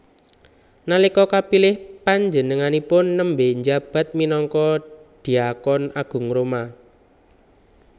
Nalika kapilih panjenenganipun nembé njabat minangka dhiakon agung Roma